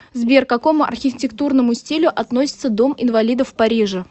сбер к какому архитектурному стилю относится дом инвалидов в париже